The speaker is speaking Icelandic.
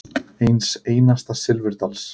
Eins einasta silfurdals.